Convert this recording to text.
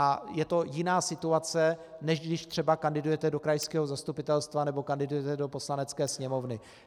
A je to jiná situace, než když třeba kandidujete do krajského zastupitelstva nebo kandidujete do Poslanecké sněmovny.